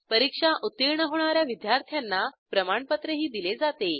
परीक्षा उत्तीर्ण होणा या विद्यार्थ्यांना प्रमाणपत्रही दिले जाते